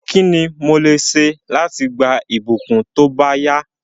Kíni mo lè se láti gba ìbùkún tóbáyá